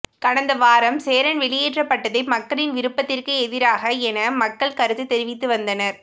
கடந்த வாரம் சேரன் வெளியேற்றப்பட்டதே மக்களின் விருப்பத்திற்கு எதிராக என மக்கள் கருத்து தெரிவித்து வந்தனர்